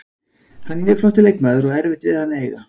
Hann er mjög flottur leikmaður og erfitt við hann að eiga.